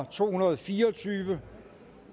to hundrede og fire og tyve